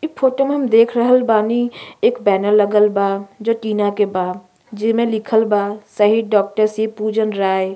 ई फोटो में हम देख रहल बानी एक बैनर लगल बा जो टीना के बा जेमे लिखल बा शहीद डॉक्टर शिव पूजन राय।